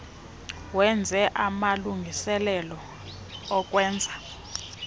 wenze amalungiselelo okwenza